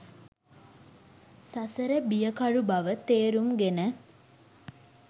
සසර බියකරු බව තේරුම්ගෙන